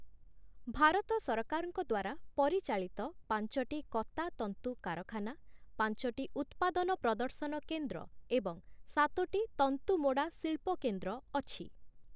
ଭାରତ ସରକାରଙ୍କ ଦ୍ୱାରା ପରିଚାଳିତ ପାଞ୍ଚଟି କତା ତନ୍ତୁ କାରଖାନା, ପାଞ୍ଚଟି ଉତ୍ପାଦନ ପ୍ରଦର୍ଶନ କେନ୍ଦ୍ର ଏବଂ ସାତୋଟି ତନ୍ତୁ ମୋଡ଼ା ଶିଳ୍ପକେନ୍ଦ୍ର ଅଛି ।